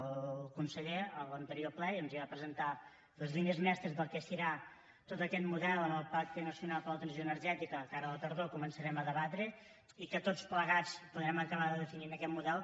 el conseller a l’anterior ple ja ens va presentar les línies mestres del que serà tot aquest model en el pacte nacional per a la transició energètica que ara a la tardor començarem a debatre i en què tots plegats podrem acabar de definir aquest model